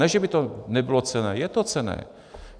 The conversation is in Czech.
Ne že by to nebylo cenné, je to cenné.